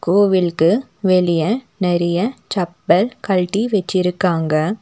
கோவிலுக்கு வெளிய நெறைய செப்பல் கழட்டி வச்சிருக்காங்க.